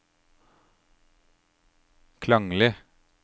klanglig